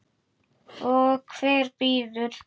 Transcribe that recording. Og hver býður?